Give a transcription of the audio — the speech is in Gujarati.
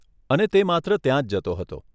અને તે માત્ર ત્યાંજ જતો હતો.